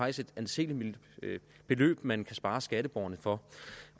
et anseligt beløb man kan spare skatteborgerne for